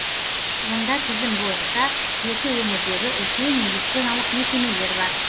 онда тізім бойынша жеті өңірдегі үлкен медициналық мекемелер бар